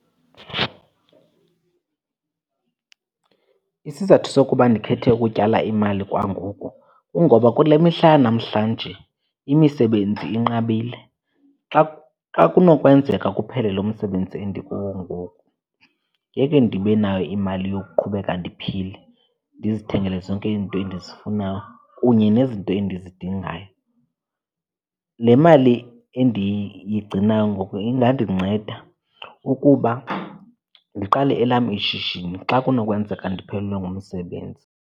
Isizathu sokuba ndikhethe utyala imali kwangoku kungoba kule mihla yanamhlanje imisebenzi inqabile. Xa , xa kunokwenzeka kuphele lo msebenzi endikuwo ngoku ngeke ndibe nayo imali yokuqhubeka ndiphile ndizithengele zonke izinto endizifunayo kunye nezinto endizidingayo. Le mali endiyigcinayo ngoku ingandinceda ukuba ndiqale elam ishishini xa kunokwenzeka ndiphelelwe ngumsebenzi.